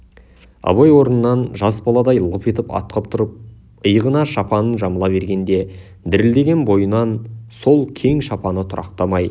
абай орнынан жас баладай лып етіп атқып тұрып иығына шапанын жамыла бергенде дірілдеген бойынан сол кең шапаны тұрақтамай